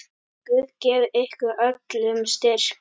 Guð gefi ykkur öllum styrk.